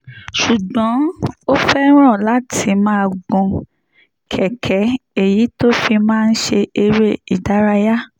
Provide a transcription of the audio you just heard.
ṣùgbọ́n ó fẹ́ràn láti máa gun kẹ̀kẹ́ èyí tó fi máa ń ṣe eré ìdárayá